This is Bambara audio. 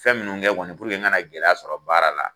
Fɛn minnu kɛ kɔni puruke n ka na gɛlɛya sɔrɔ baara la.